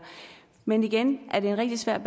men igen det er en rigtig svær